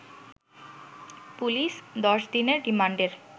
police ১০ দিনের রিমান্ডের